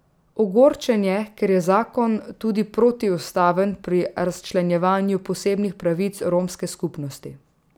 Ogorčen je, ker je zakon tudi protiustaven pri razčlenjevanju posebnih pravic romske skupnosti.